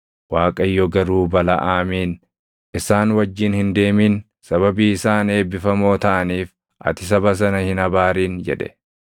Waaqayyo garuu Balaʼaamiin, “Isaan wajjin hin deemin. Sababii isaan eebbifamoo taʼaniif ati saba sana hin abaarin” jedhe.